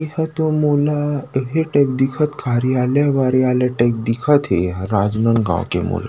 एह तो मोला इहे टाइप दिखत कार्यालय वारयले टाइप दिखत हे राजनांदगाँव के मोला--